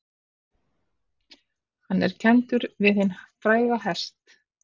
Hann er kenndur við hinn fræga hest